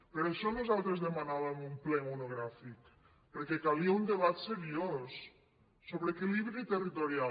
per això nosaltres demanàvem un ple monogràfic perquè calia un debat seriós sobre equilibri territorial